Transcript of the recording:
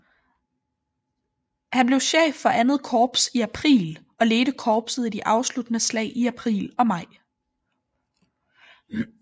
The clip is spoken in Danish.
Han blev chef for II Korps i april og ledte korpset i de afsluttende slag i april og maj